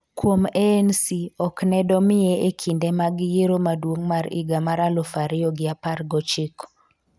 kuom ANC ok ne domiye e kinde mag yiero maduong' mar higa mar aluf ariyo gi apar gochiko